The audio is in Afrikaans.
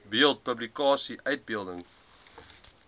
beeld publikasie uitbeelding